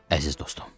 Əziz dostum.